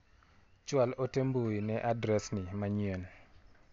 Chwal ote mbui ne adres ni manyien.